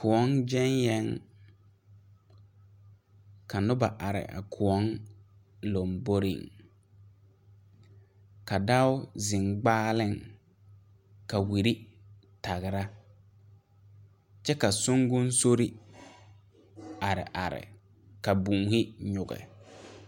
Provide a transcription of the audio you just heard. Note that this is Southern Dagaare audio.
Kõɔ gyɛŋ yɛŋ ka noba are a kõɔ lomboriŋ ka dao zeŋ gbaaleŋ ka wiri tagra kyɛ ka songosori are are ka boohi nyige.